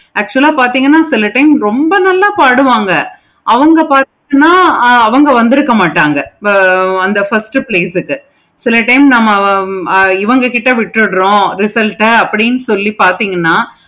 actual ஆஹ் பார்த்திங்கனா சில time ரொம்ப நல்ல பாடுவாங்க அவங்க பார்த்தீங்கன்னா அவங்க வந்துருக்க மாட்டாங்க இப்போ வந்து first கேட்டிருக்கேன். சில time வந்து ஆஹ் இவுங்க கிட்ட விட்டுறோம். அப்படினு சொல்லிட்டு பார்த்தீங்கன்னா